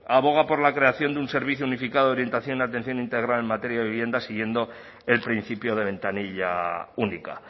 aboga por la creación de un servicio unificado de orientación y de atención integral en materia de vivienda siguiendo el principio de ventanilla única